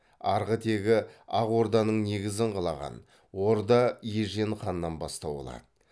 арғы тегі ақ орданың негізін қалаған орда ежен ханнан бастау алады